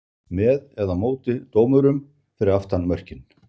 með eða móti dómurum fyrir aftan mörkin?